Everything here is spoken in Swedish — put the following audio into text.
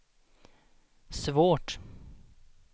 svårt